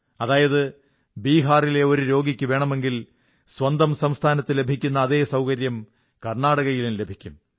അതായത് ബിഹാറിലെ ഒരു രോഗിക്ക് വേണമെങ്കിൽ സ്വന്തം സംസ്ഥാനത്ത് ലഭിക്കുന്ന അതേ സൌകര്യം കർണ്ണാടകയിലും ലഭിക്കും